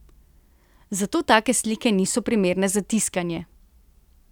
Zato take slike niso primerne za tiskanje!